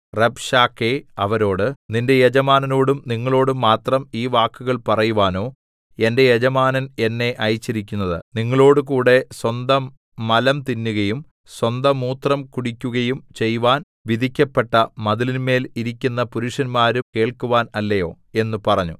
Rabshakeh അവരോട് നിന്റെ യജമാനനോടും നിങ്ങളോടും മാത്രം ഈ വാക്കുകൾ പറവാനോ എന്റെ യജമാനൻ എന്നെ അയച്ചിരിക്കുന്നത് നിങ്ങളോടുകൂടെ സ്വന്തമലം തിന്നുകയും സ്വന്തമൂത്രം കുടിക്കുകയും ചെയ്‌വാൻ വിധിക്കപ്പെട്ട മതിലിന്മേൽ ഇരിക്കുന്ന പുരുഷന്മാരും കേൾക്കുവാൻ അല്ലയോ എന്ന് പറഞ്ഞു